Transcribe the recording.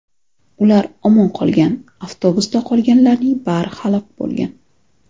Ular omon qolgan, avtobusda qolganlarning bari halok bo‘lgan.